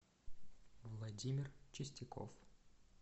владимир чистяков